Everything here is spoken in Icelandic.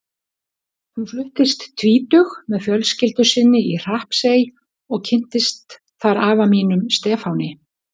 Hún fluttist tvítug með fjölskyldu sinni í Hrappsey og kynntist þar afa mínum, Stefáni.